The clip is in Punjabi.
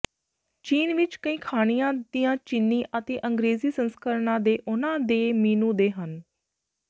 ਚੀਨ ਵਿਚ ਕਈ ਖਾਣਿਆਂ ਦੀਆਂ ਚੀਨੀ ਅਤੇ ਅੰਗ੍ਰੇਜ਼ੀ ਸੰਸਕਰਣਾਂ ਦੇ ਉਨ੍ਹਾਂ ਦੇ ਮੀਨੂ ਦੇ ਹਨ